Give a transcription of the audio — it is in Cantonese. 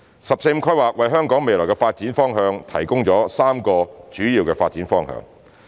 "十四五"規劃為香港未來的發展提供3個主要發展方向。